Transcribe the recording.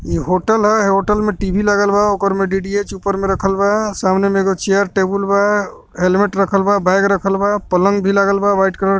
इ होटल ह होटल मे टी.वी लागल बा ओकर में डी.टी.एच ऊपर में रखल बा सामने में एगो चेयर टेबुल बा हेलमेट रखल बा बैग रखल बा पलंग भी लगल बा व्हाइट कलर के --